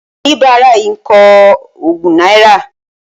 Oníbárà yìí ń kọ ogún náírà